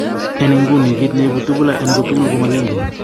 En nguni, kit ne ibu tubular en kotugul komagingen